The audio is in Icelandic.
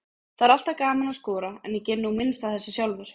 Það er alltaf gaman að skora, en ég geri nú minnst af þessu sjálfur.